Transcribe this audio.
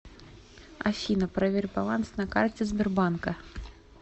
афина проверь баланс на карте сбербанка